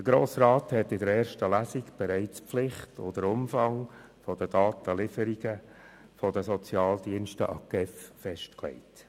Der Grosse Rat hat in der ersten Lesung bereits die Pflicht und den Umfang der Datenlieferungen der Sozialdienste an die GEF festgelegt.